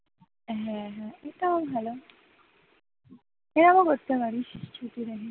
হ্যাঁ হ্যাঁ এটাও ভালো fail ও করতে পারিস, ছুটি নেহি